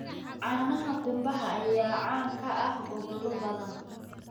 Caanaha qumbaha ayaa caan ka ah gobollo badan.